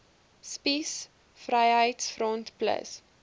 spies vryheids front plus